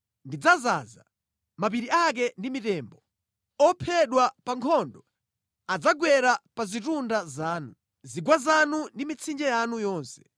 Ndidzaza mapiri ake ndi mitembo. Ophedwa pa nkhondo adzagwera pa zitunda zanu, zigwa zanu ndi mʼmitsinje yanu yonse.